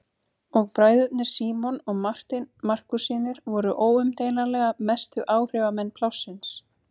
Og bræðurnir Símon og Marteinn Markússynir voru óumdeilanlega mestu áhrifamenn plássins.